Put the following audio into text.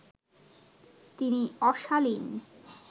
তিনি অশালীন